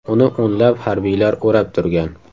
Uni o‘nlab harbiylar o‘rab turgan.